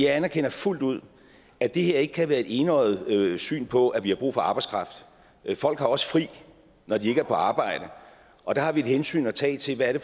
anerkender fuldt ud at det her ikke kan være et enøjet syn på at vi har brug for arbejdskraft folk har også fri når de ikke er på arbejde og der har vi et hensyn at tage til hvad det